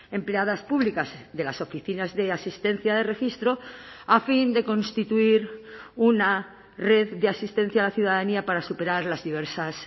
empleadas públicas de las oficinas de asistencia de registro a fin de constituir una red de asistencia a la ciudadanía para superar las diversas